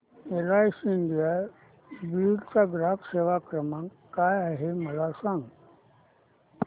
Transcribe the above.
LIC India Beed चा ग्राहक सेवा क्रमांक काय आहे मला सांग